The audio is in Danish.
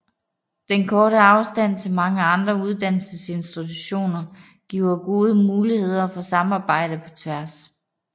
Den korte afstand til mange andre uddannelsesinstitutioner giver gode muligheder for samarbejde på tværs